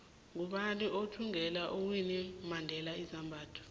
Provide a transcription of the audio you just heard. ngubani othvngela uwinnie mandela izambatho